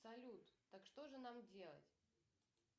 салют так что же нам делать